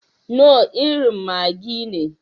Knorr irin maggi ne.